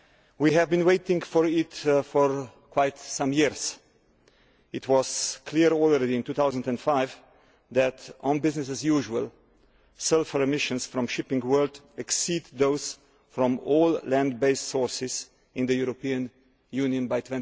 We have been waiting for it for a number of years. It was already clear in 2005 that, with business as usual, sulphur emissions from shipping would exceed those from all land based sources in the European Union by